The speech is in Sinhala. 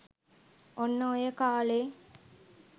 ඔන්න ඔය කාලේ